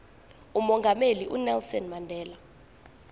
umongameli unelson mandela